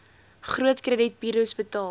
groot kredietburos betaal